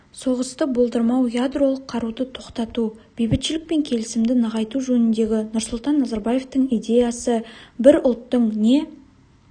соғысты болдырмау ядролық қаруды тоқтату бейбітшілік пен келісімді нығайту жөніндегі нұрсұлтан назарбаевтың идеясы бір ұлттың не